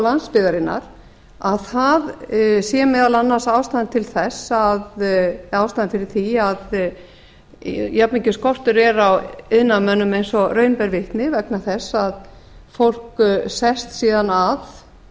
landsbyggðarinnar að það sé meðal annars ástæðan fyrir því að jafnmikill skortur er á iðnaðarmönnum eins og raun ber vitni vegna þess að fólk sest síðan að